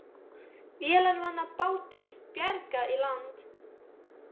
Vélarvana bátum bjargað í land